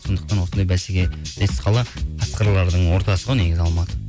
сондықтан осындай бәсекелес қала қасқырлардың ортасы ғой негізі алматы